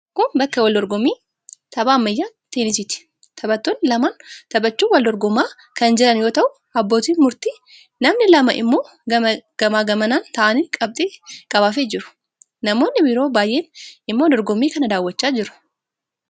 Kun bakka wal dorgommii tapha ammayyaa teenisiiti. Taphattoonni lamaan taphachuun wal dorgomaa kan jiran yoo ta'u, abbootiin murtii namni lama immoo gamaa gamana taa'anii qabxii qabaafii jiru. Namoonni biroo baay'een immoo dorgommii kana daawwachaa jiru.